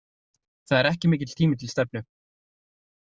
Það er ekki mikill tími til stefnu.